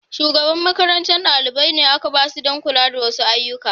Shugaban makarantar dalibai ne aka ba su don kula da wasu ayyuka.